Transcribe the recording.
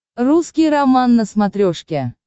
русский роман на смотрешке